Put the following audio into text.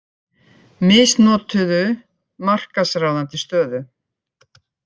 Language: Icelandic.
Misnotuðu markaðsráðandi stöðu